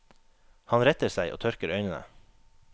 Han retter seg og tørker øynene.